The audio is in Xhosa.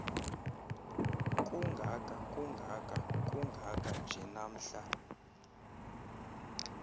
kungakakungakakungaka nje namhla